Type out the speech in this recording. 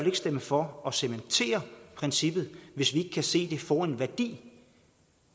ikke stemme for at cementere princippet hvis vi ikke kan se at det får en værdi